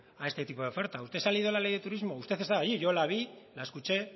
a este tipo de ofertas usted se ha leído la ley de turismo usted estaba allí yo la vi la escuché